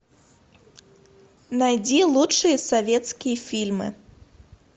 найди лучшие советские фильмы